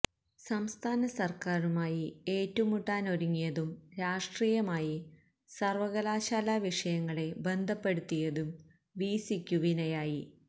സംസ്ഥാന സര്ക്കാരുമായി ഏറ്റുമുട്ടാനൊരുങ്ങിയതും രാഷ്ട്രീയമായി സര്വ്വകലാശാലാ വിഷയങ്ങളെ ബന്ധപ്പെടുത്തിയതും വിസിയ്ക്കു വിനയായി